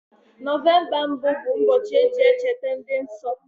November mbụ bụ mbochi eji echeta ndi nso